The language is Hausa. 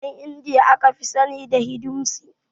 Ƴan indiya aka fi sani da hiduisim